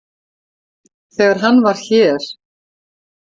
Þegar hann var hér.